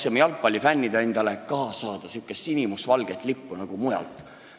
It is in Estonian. Meie, jalgpallifännid, tahtsime endale ka saada sihukest sinimustvalget lippu, nagu mujal on.